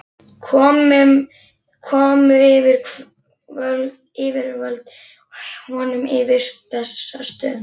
Komu yfirvöld honum í vist á Bessastöðum hjá